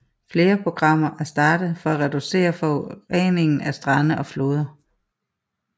Flere programmer er startet for at reducere forureningen af strande og floder